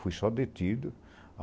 Fui só detido.